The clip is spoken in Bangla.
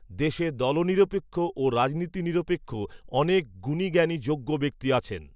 দেশে দলনিরপেক্ষ ও রাজনীতি নিরপেক্ষ, অনেক গুণীজ্ঞানী যোগ্য ব্যক্তি আছেন